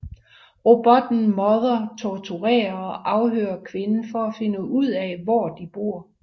Robotten mother torturerer og afhører kvinden for at finde ud af hvor de bor